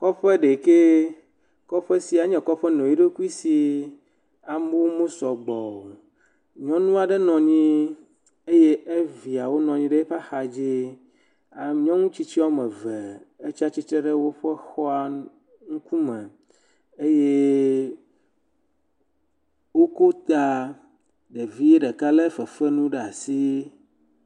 Kɔƒe ɖekɛ. Kɔƒe sia enye kɔƒe nɔ eɖokui si. Amewo mesɔ gbɔ o. nyɔnu aɖe nɔ anyi eye eviawo nɔ anyi ɖe eƒe axa dzi. Nyɔnu tsitsi wɔme eve etsi stsitre ɖe eƒe xɔa ŋkume eye woko ta. Ɖevi ɖeka le fefenu ɖe asi.